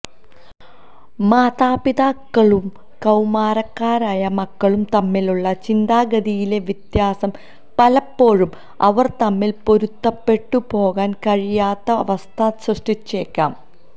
മാതാപിതാക്കളും കൌമാരക്കാരായ മക്കളും തമ്മിലുള്ള ചിന്താഗതിയിലെ വ്യത്യാസം പലപ്പോഴും അവര് തമ്മില് പൊരുത്തപ്പെട്ടു പോകാന് കഴിയാത്ത അവസ്ഥ സൃഷ്ടിച്ചേക്കാം